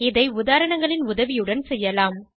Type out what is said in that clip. இதை உதாரணங்களின் உதவியுடன் செய்யலாம்